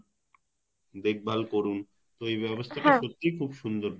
দেখভাল করুন তো এই ব্যবস্থা টা সত্যিই খুব সুন্দর